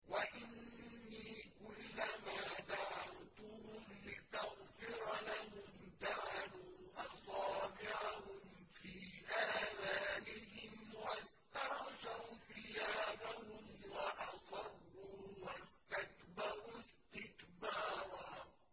وَإِنِّي كُلَّمَا دَعَوْتُهُمْ لِتَغْفِرَ لَهُمْ جَعَلُوا أَصَابِعَهُمْ فِي آذَانِهِمْ وَاسْتَغْشَوْا ثِيَابَهُمْ وَأَصَرُّوا وَاسْتَكْبَرُوا اسْتِكْبَارًا